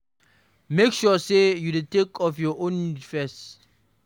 Make sure sey you dey take care of your own needs first